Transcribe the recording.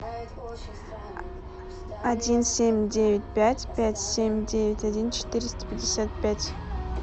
один семь девять пять пять семь девять один четыреста пятьдесят пять